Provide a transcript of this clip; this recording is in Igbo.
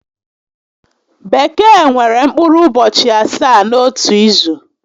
Bekee nwere mkpụrụ ụbọchị asaá n'otu izu